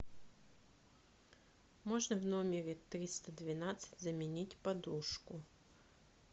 можно в номере триста двенадцать заменить подушку